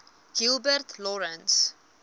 gilbert lawrence